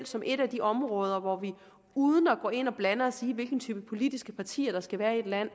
som et af de områder hvor vi uden at gå ind og blande os i hvilken type politiske partier der skal være i et land